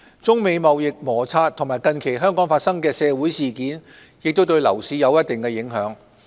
中美貿易摩擦和近期香港發生的社會事件亦對樓市有一定影響。